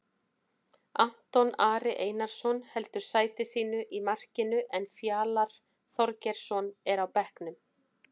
Anton Ari Einarsson heldur sæti sínu í markinu en Fjalar Þorgeirsson er á bekknum.